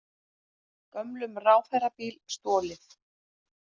Gömlum ráðherrabíl stolið